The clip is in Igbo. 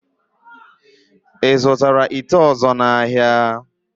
Ị zụtara ite ọ̀zọ́ n'ahịa?